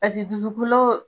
Paseke dusukolo